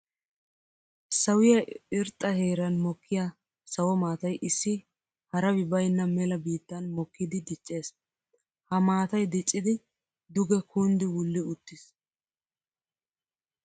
Sawiya irxxa heeran mokkiya sawo maatay issi harabbi baynna mela biittan mokkiddi diccees. Ha maatay dicciddi duge kunddi wulli uttiis.